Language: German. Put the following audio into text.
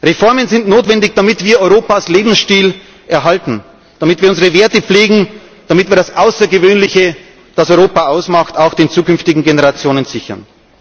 Reformen sind notwendig, damit wir Europas Lebensstil erhalten, damit wir unsere Werte pflegen, damit wir das Außergewöhnliche, das Europa ausmacht, auch den zukünftigen Generationen sichern.